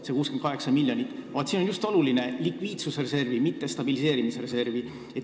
See on oluline, et just likviidsusreservi, mitte stabiliseerimisreservi.